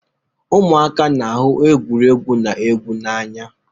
Ụmụaka na-ahụ egwuregwu na egwu n'anya